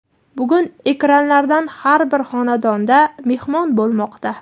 bugun ekranlardan har bir xonadonda "mehmon" bo‘lmoqda.